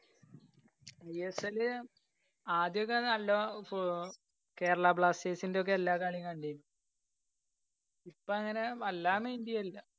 I S L ആദ്യൊക്കെ നല്ല ഫ് കേരളാ ബ്ലാസ്റ്റേഴ്സിന്റെ ഒക്കെ എല്ലാ കളീം കണ്ടിരുന്നു. ഇപ്പോ അങ്ങനെ വല്ലാതെ mind ചെയ്യലില്ല.